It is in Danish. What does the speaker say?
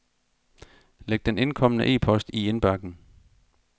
Læg den indkomne e-post i indbakken.